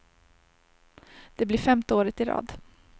Det blir femte året i rad.